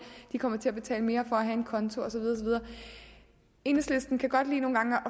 de kommer til at betale mere for at have en konto og så videre enhedslisten kan godt lide nogle gange at